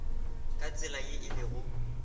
ka tsela ye e lego